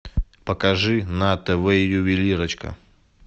покажи на тв ювелирочка